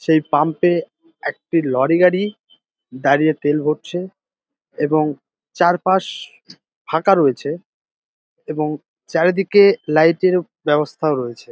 সেই পাম্প -এ একটি লরি গাড়ি দাঁড়িয়ে তেল ভরছে এবং চারপাশ ফাঁকা রয়েছে এবং চারিদিকে লাইট -এর ব্যবস্থাও রয়েছে।